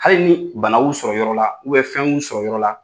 Hali ni banaw y'u sɔrɔ yɔrɔ la, fɛnw y'u sɔrɔ yɔrɔ la